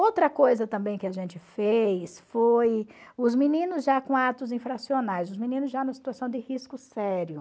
Outra coisa também que a gente fez foi os meninos já com atos infracionais, os meninos já na situação de risco sério.